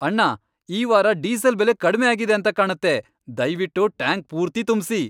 ಅಣ್ಣ, ಈ ವಾರ ಡೀಸೆಲ್ ಬೆಲೆ ಕಡ್ಮೆ ಆಗಿದೆ ಅಂತ ಕಾಣತ್ತೆ. ದಯ್ವಿಟ್ಟು ಟ್ಯಾಂಕ್ ಪೂರ್ತಿ ತುಂಬ್ಸಿ.